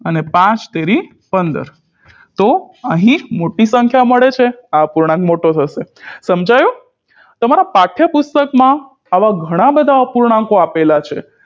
અને પાંચતેરી પંદર તો અહી મોટી સંખ્યા મળે છે આ અપૂર્ણાંક મોટો થશે સમજાયું તમારા પાઠ્યપુસ્તક માં આવા ઘણા બધા અપૂર્ણાંકો આપેલ છે